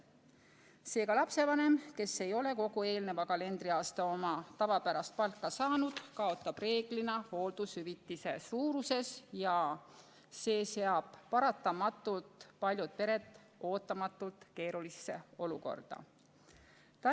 Seega lapsevanem, kes ei ole kogu eelnenud kalendriaasta oma tavapärast palka saanud, kaotab reeglina hooldushüvitise suuruses ja see seab paratamatult paljud pered ootamatult keerulisse olukorda.